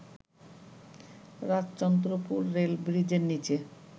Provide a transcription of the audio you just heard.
Rajchandrapur rail ব্রিজের নীচে